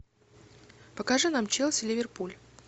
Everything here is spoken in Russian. покажи нам челси ливерпуль